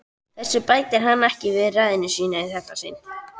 Þessu bætir hann ekki við ræðuna í þetta sinn.